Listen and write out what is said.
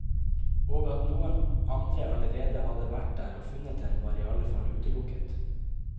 Og at noen andre allerede hadde vært der og funnet den, var i allefall utelukket.